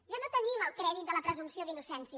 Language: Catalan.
ja no tenim el crèdit de la presumpció d’innocència